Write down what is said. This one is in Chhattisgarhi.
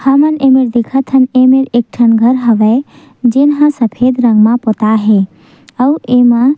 हमन एमा देखत हन एमें एक ठन घर हावय जे हा सफेद रंग म पोताय हे अउ एमा--